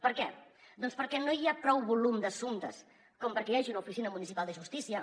per què doncs perquè no hi ha prou volum d’assumptes com perquè hi hagi una oficina municipal de justícia